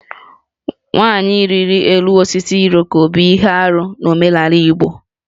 Nwanyị ịrị elu osisi Iroko bụ ihe arụ n'omenala Igbo